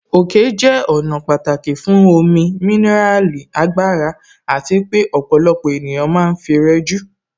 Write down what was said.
Òkè jẹ́ ọ̀nà pàtàkì fún omi, mineral, agbára àti pé ọ̀pọ̀lọpọ̀ ènìyàn ma ń fi rẹjú.